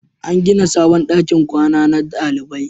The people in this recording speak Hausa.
An gina sabon dakin kwana na dalibai